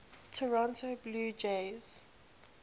toronto blue jays